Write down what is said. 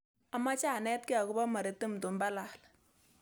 Amache anetge ago po maritim tumbalal